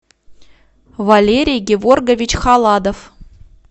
валерий геворгович халадов